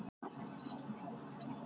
Mörg í köku minni sá.